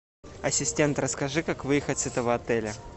ассистент расскажи как выехать с этого отеля